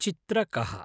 चित्रकः